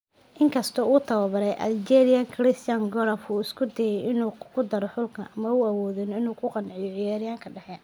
In kasta oo tababare Algeria Christian Gourcuff uu isku dayay inuu ku daro xulka, ma uu awoodin inuu ku qanciyo ciyaaryahanka dhexe.